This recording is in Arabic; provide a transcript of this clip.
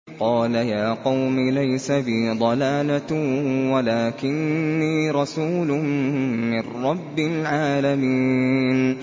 قَالَ يَا قَوْمِ لَيْسَ بِي ضَلَالَةٌ وَلَٰكِنِّي رَسُولٌ مِّن رَّبِّ الْعَالَمِينَ